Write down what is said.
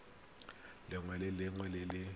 lengwe le lengwe le le